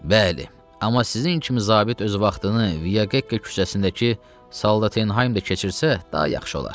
Bəli, amma sizin kimi zabit öz vaxtını Vika küçəsindəki Soldatın Heimdə keçirsə daha yaxşı olar.